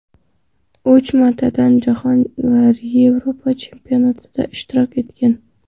Uch martadan Jahon va Yevropa chempionatida ishtirok etgan.